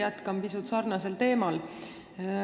Jätkan pisut sarnasel teemal.